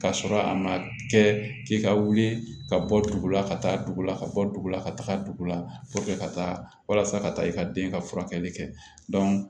Ka sɔrɔ a ma kɛ k'i ka wuli ka bɔ dugu la ka taa dugu la ka bɔ dugu la ka taga dugu la ka taa walasa ka taa i ka den ka furakɛli kɛ